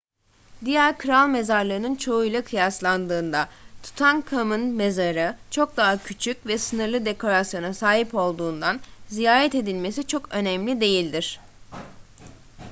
diğer kral mezarlarının çoğuyla kıyaslandığında tutankhamun'un mezarı çok daha küçük ve sınırlı dekorasyona sahip olduğundan ziyaret edilmesi çok önemli değildir